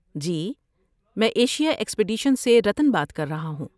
جی، میں Asia expedition سے رتن بات کر رہا ہوں۔